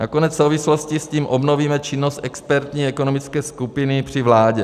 Nakonec v souvislosti s tím obnovíme činnost expertní ekonomické skupiny při vládě.